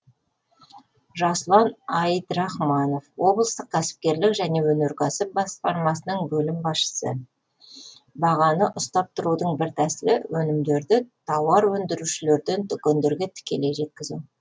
жасұлан айдрахманов облыстық кәсіпкерлік және өнеркәсіп басқармасының бөлім басшысы бағаны ұстап тұрудың бір тәсілі өнімдерді тауар өндірушілерден дүкендерге тікелей жеткізу